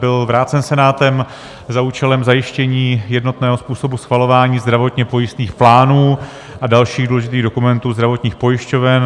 Byl vrácen Senátem za účelem zajištění jednotného způsobu schvalování zdravotně pojistných plánů a dalších důležitých dokumentů zdravotních pojišťoven.